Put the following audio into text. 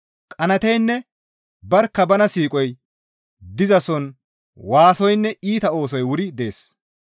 Qanaateynne barkka bana siiqoy dizason waasoynne iita oosoy wuri dees.